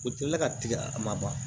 U tɛ la ka tigɛ a ma ban